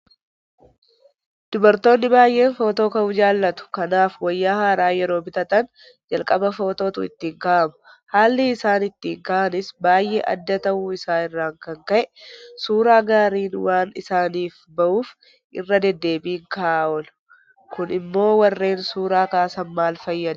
Dubartoonni baay'een Footoo ka'uu jaalatu. Kanaaf wayyaa haaraa yeroo bitatan jalqaba Footootu ittiin ka'ama. Haalli isaan ittiin ka'anis baay'ee adda ta'uu isaa irraa kan ka'e Suuraa gaariin waan isaaniif bahuuf irra deddeebiin ka'aa oolu. Kun immoo warreen Suura Kaasan maal fayyada?